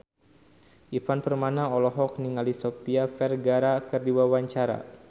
Ivan Permana olohok ningali Sofia Vergara keur diwawancara